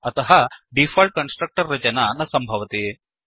अतः default constructor रचना न सम्भवति